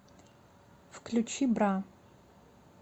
включи бра